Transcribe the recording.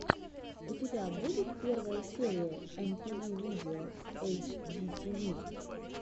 у тебя будет первая серия эмпиви видео эйчдитиви